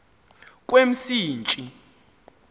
kwemsintsi